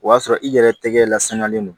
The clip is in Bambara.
O y'a sɔrɔ i yɛrɛ tɛgɛ lasaniyalen don